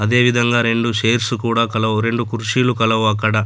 అదేవిధంగా రెండు షైర్స్ కూడా కలవు. రెండు కుర్షీలు కలవు అక్కడ.